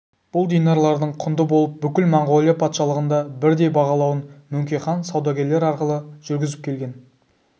бұл динарлардың құнды болып бүкіл монғолия патшалығында бірдей бағалануын мөңке хан саудагерлер арқылы жүргізіп келген